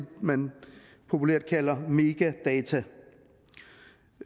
man populært kalder metadata